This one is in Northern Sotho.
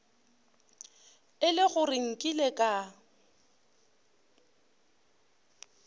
e le gore nkile ka